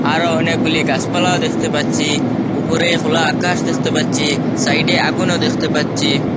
আরও অনেকগুলি গাসপালাও দেখতে পাচ্ছি ওপরে খোলা আকাশ দেখতে পাচ্ছি সাইডে আগুনও দেখতে পাচ্ছি।